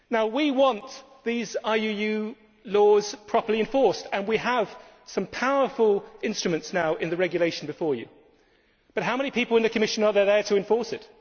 us? We want these IUU laws to be properly enforced and we have some powerful instruments now in the Regulation before you, but how many people in the Commission are there to enforce